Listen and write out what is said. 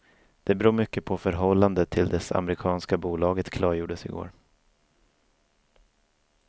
Det beror mycket på förhållande till dess amerikanska bolaget klargjordes i går.